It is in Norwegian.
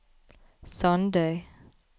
Sandøy